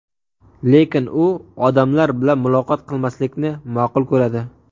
Lekin u odamlar bilan muloqot qilmaslikni ma’qul ko‘radi.